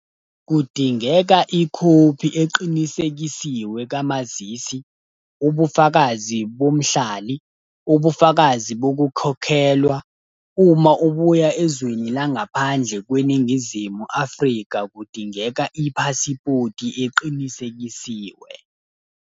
Kudingeka ikhophi eqinisekisiwe kamazisi, ubufakazi bomhlali, ubufakazi bokukhokhelwa. Uma ubuya ezweni langaphandle kweNingizimu Africa, kudingeka iphasipoti eqinisekisiwe.